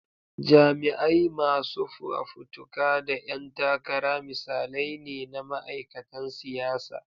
Jami'ai, masu fafutuka, da 'yan takara misalai ne na ma'aikatan siyasa.